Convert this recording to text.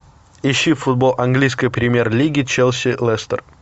ищи футбол английской премьер лиги челси лестер